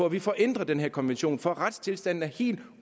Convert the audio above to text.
at vi får ændret den her konvention for retstilstanden er helt